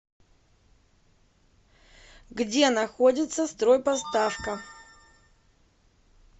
где находится стройпоставка